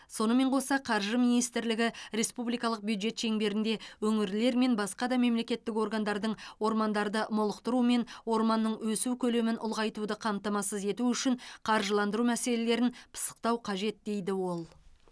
сонымен қоса қаржы министрлігі республикалық бюджет шеңберінде өңірлер мен басқа да мемлекеттік органдардың ормандарды молықтыру мен орманның өсу көлемін ұлғайтуды қамтамасыз ету үшін қаржыландыру мәселелерін пысықтау қажет дейді ол